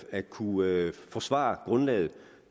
at kunne forsvare grundlaget